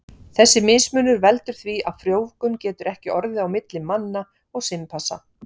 Þessi mismunur veldur því að frjóvgun getur ekki orðið á milli manna og simpansa.